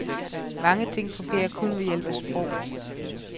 Mange ting fungerer kun ved hjælp af sprog.